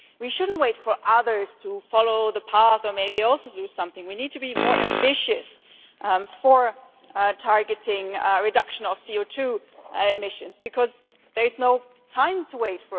We should not wait for others to follow the path or maybe also do something, but we need to be more ambitious in targeting the reduction of CO2 emissions, because we have no time to waste.